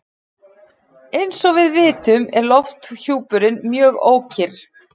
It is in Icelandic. Eins og við vitum er lofthjúpurinn mjög ókyrr.